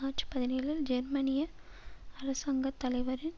March பதினேழில் ஜெர்மனிய அரசாங்க தலைவரின்